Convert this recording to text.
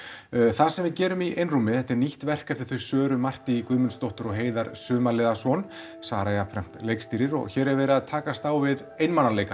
það sem við gerum í einrúmi þetta er nýtt verk eftir þau Söru Martí Guðmundsdóttur og Heiðar Sumarliðason Sara jafnframt leikstýrir og hér er verið að takast á við einmanaleikann